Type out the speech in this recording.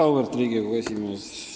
Auväärt Riigikogu esimees!